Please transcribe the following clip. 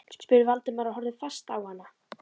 spurði Valdimar og horfði fast á hana.